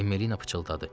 Emma pıçıldadı.